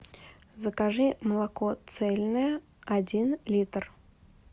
закажи молоко цельное один литр